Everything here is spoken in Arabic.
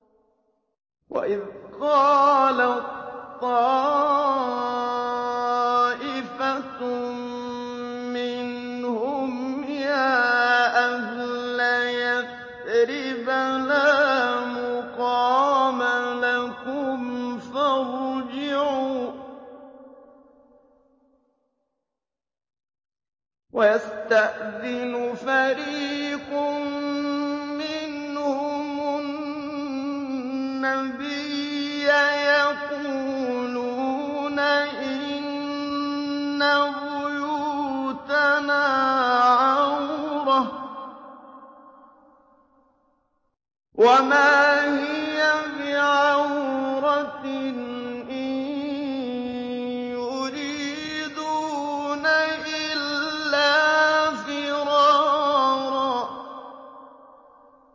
وَإِذْ قَالَت طَّائِفَةٌ مِّنْهُمْ يَا أَهْلَ يَثْرِبَ لَا مُقَامَ لَكُمْ فَارْجِعُوا ۚ وَيَسْتَأْذِنُ فَرِيقٌ مِّنْهُمُ النَّبِيَّ يَقُولُونَ إِنَّ بُيُوتَنَا عَوْرَةٌ وَمَا هِيَ بِعَوْرَةٍ ۖ إِن يُرِيدُونَ إِلَّا فِرَارًا